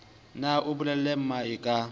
ne a bolelle mmae ka